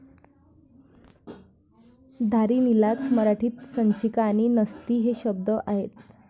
धारिणीलाच मराठीत संचिका आणि नसती हे शब्द आहेत.